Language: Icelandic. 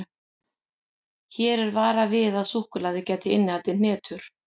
Hér er varað við að súkkulaðið gæti innihaldið hnetur.